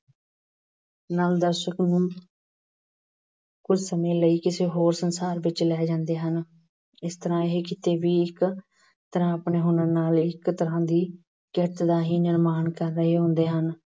ਨਾਲ ਦਰਸ਼ਕ ਨੂੰ ਕੁਝ ਸਮੇਂ ਲਈ ਕਿਸੇ ਹੋਰ ਸੰਸਾਰ ਵਿੱਚ ਲੈ ਜਾਂਦੇ ਹਨ। ਇਸ ਤਰ੍ਹਾਂ ਇਹ ਕਿੱਤੇ ਵੀ ਇੱਕ ਤਰ੍ਹਾਂ ਆਪਣੇ ਹੁਨਰ ਨਾਲ ਇੱਕ ਤਰ੍ਹਾਂ ਦੀ ਕਿਰਤ ਦਾ ਹੀ ਨਿਰਮਾਣ ਕਰ ਰਹੇ ਹੁੰਦੇ ਹਨ।